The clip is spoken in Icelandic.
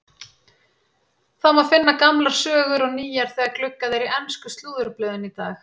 Það má finna gamlar sögur og nýjar þegar gluggað er í ensku slúðurblöðin í dag.